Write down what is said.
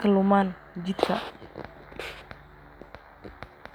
kaduman.